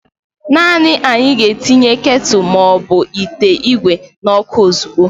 naanị anyị ga-etinye ketulu ma ọ bụ ite igwe n'ọkụ ozugbo